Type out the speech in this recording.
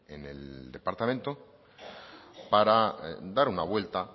en el departamento para dar una vuelta